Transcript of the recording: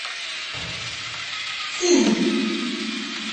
цинь